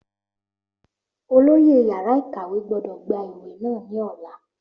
Olóyè yàrá ìkàwé gbọ́dọ̀ gba ìwé náà ní ọ̀la